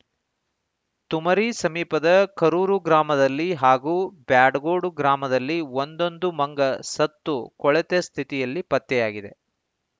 ತುಮರಿ ಸಮೀಪದ ಕರೂರು ಗ್ರಾಮದಲ್ಲಿ ಹಾಗೂ ಬ್ಯಾಡಗೋಡು ಗ್ರಾಮದಲ್ಲಿ ಒಂದೊಂದು ಮಂಗ ಸತ್ತು ಕೊಳೆತ ಸ್ಥಿತಿಯಲ್ಲಿ ಪತ್ತೆಯಾಗಿವೆ